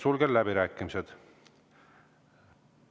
Sulgen läbirääkimised.